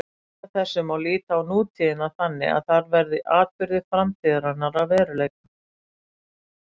Samkvæmt þessu má líta á nútíðina þannig að þar verði atburðir framtíðarinnar að veruleika.